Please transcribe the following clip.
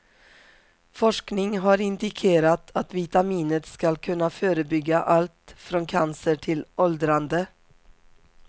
Forskning har indikerat att vitaminet ska kunna förebygga allt från cancer till åldrande.